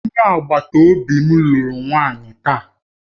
Onye agbata obi m lụrụ nwanyị taa